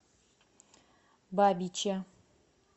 бабиче